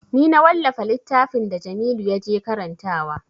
Ni na wallafa littafin da jamilu ya je karantawa